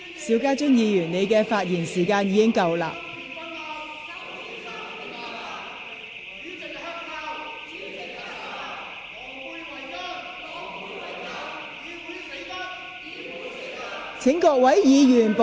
邵家臻議員，你的發言時限已過，請坐下。